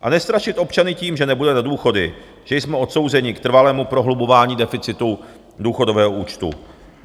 A nestrašit občany tím, že nebude na důchody, že jsme odsouzeni k trvalému prohlubování deficitu důchodového účtu.